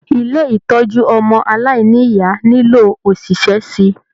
Ilé ìtọjú ọmọ aláìníya nilo oṣiṣẹ síi.